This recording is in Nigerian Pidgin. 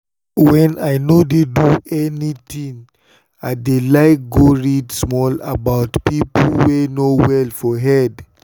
when i no dey do anything i dey like go read small about people wey no well for head.